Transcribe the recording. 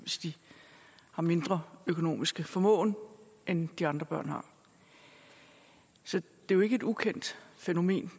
har mindre økonomisk formåen end de andre børn har så det er jo ikke et ukendt fænomen